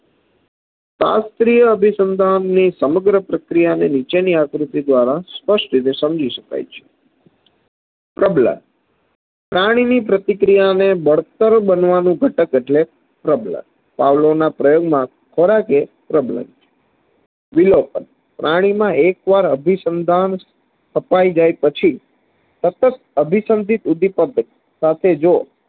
પાવલોના પ્રયોગ માં ખોરાક એ problem છે વિલોપન પ્રાણીમાં એકવાર અભી સંધાન સ્થપાય જાય પછી સતત અભિસન્દીપ ઉદીપક સાથેજો